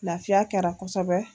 Lafiya kɛra kosɛbɛ